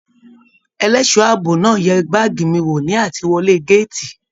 Ẹlẹṣọ ààbò náà yẹ baagi mí wò ni atiwọlè gàátí.